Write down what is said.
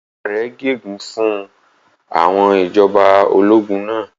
Ìyá rẹ̀ gégùn-ún fún àwọn ìjọba ológun náà.